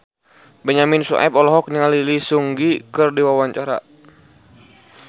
Benyamin Sueb olohok ningali Lee Seung Gi keur diwawancara